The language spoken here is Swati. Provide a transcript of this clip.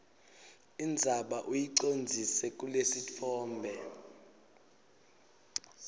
indzaba uyicondzise kulesitfombe